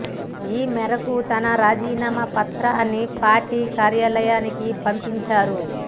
ఈ మేరకు తన రాజీనామా పత్రాన్ని పార్టీ కార్యాలయానికి పంపించారు